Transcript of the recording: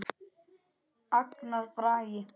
Agnar Bragi.